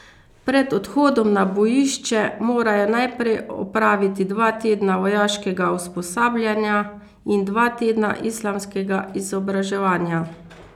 Pred odhodom na bojišče morajo najprej opraviti dva tedna vojaškega usposabljanja in dva tedna islamskega izobraževanja.